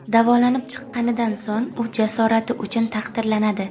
Davolanib chiqqanidan so‘ng u jasorati uchun taqdirlanadi.